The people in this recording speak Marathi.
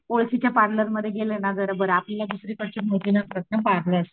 ओळखीच्या पार्लर मध्ये गेलं ना जरा बर आपल्याला दुसरीकडचे माहिती नसतात ना पार्लर.